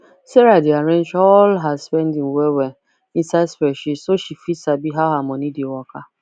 sarah dey arrange all her spending well well inside spreadsheet so she fit sabi how her money dey waka